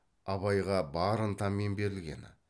абайға бар ынтамен берілгені